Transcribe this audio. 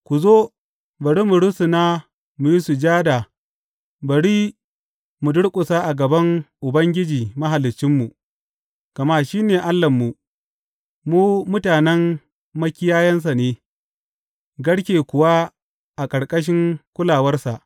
Ku zo, bari mu rusuna mu yi sujada, bari mu durƙusa a gaban Ubangiji Mahaliccinmu; gama shi ne Allahnmu mu mutanen makiyayansa ne, garke kuwa a ƙarƙashin kulawarsa.